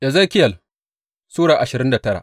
Ezekiyel Sura ashirin da tara